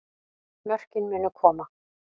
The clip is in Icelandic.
Mörkin munu koma